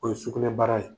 O ye sugunɛbara ye